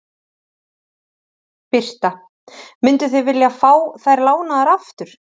Birta: Mynduð þið vilja fá þær lánaðar aftur?